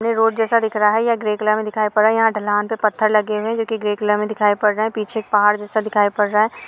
Road जेसा दिख रहा है ग्रे कलर में दिखाई पड़ रहा है यहा ढलान पे पत्थर लगे हुए है जो की ग्रे कलर में दिखाई पड़ रहे है पीछे पहाड़ जेसा दिखाई पड़ रहा हैं।